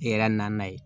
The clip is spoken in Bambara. I yɛrɛ na na yen